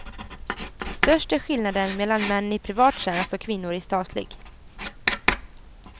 Störst är skillnaden mellan män i privat tjänst och kvinnor i statlig.